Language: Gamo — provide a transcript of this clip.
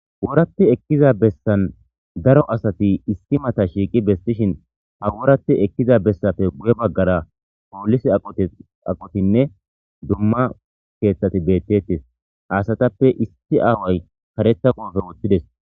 Haysan ekkida bessan daro asati issi mata shiqqi besishshen hawurappe ekkiza bessappe guyye bagara polisse aqoththinne dumma asati bettetes ha asatappe isi aaway kareththa koffiye woththides.